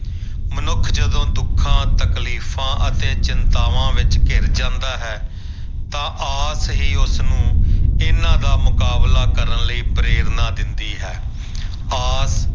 ਮਨੁੱਖ ਜਦੋਂ ਦੁੱਖਾਂ ਤਕਲੀਫ਼ਾਂ ਅਤੇ ਚਿੰਤਾਵਾਂ ਵਿੱਚ ਘਿਰ ਜਾਂਦਾ ਹੈ ਤਾਂ ਆਸ ਹੀ ਉਸਨੂੰ ਇਹਨਾਂ ਦਾ ਮੁਕਾਬਲਾ ਕਰਨ ਲਈ ਪ੍ਰੇਰਨਾ ਦਿੰਦੀ ਹੈ ਆਸ